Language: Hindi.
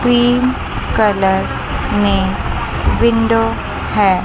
क्रीम कलर में विंडो है।